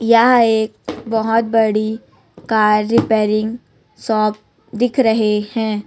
यह एक बहोत बड़ी कार रिपेयरिंग शॉप दिख रहे हैं।